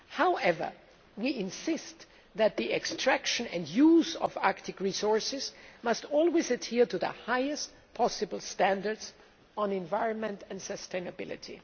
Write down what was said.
However, we insist that the extraction and use of Arctic resources must always adhere to the highest possible standards for the environment and sustainability.